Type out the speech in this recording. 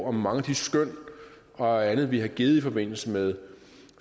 om mange af de skøn og andet vi har givet i forbindelse med